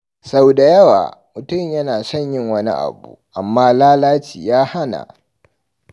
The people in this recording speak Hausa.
Sau da yawa, mutum yana son yin wani abu, amma lalaci ya hana.